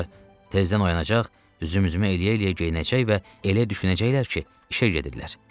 Sonra tezdən oyanacaq, üzüm-üzümə eləyə-eləyə geyinəcək və elə düşünəcəklər ki, işə gedirlər.